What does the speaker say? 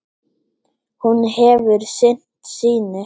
Hún hefur sinnt sínu.